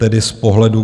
Tedy z pohledu